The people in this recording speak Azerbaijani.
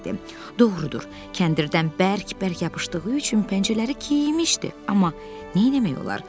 Doğrudur, kəndirdən bərk-bərk yapışdığı üçün pəncələri keyimişdi, amma nə etmək olar?